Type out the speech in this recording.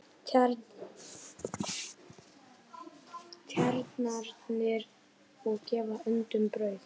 Tjarnarinnar og gefa öndum brauð.